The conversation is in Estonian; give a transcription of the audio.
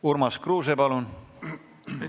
Urmas Kruuse, palun!